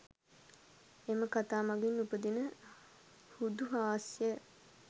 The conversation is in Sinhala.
එම කතා මඟින් උපදින හුදු හාස්‍යය